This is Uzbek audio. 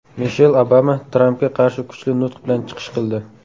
Mishel Obama Trampga qarshi kuchli nutq bilan chiqish qildi.